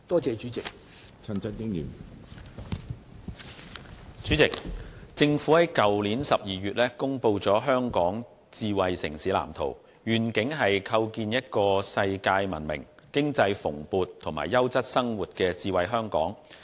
主席，政府在去年12月公布《香港智慧城市藍圖》，願景是構建一個世界聞名、經濟蓬勃及優質生活的智慧香港。